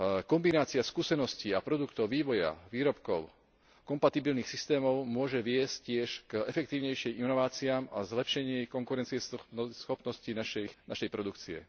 Kombinácia skúseností a produktov vývoja výrobkov kompatibilných systémov môže viesť tiež k efektívnejším inováciám a zlepšeniu konkurencieschopnosti našej produkcie.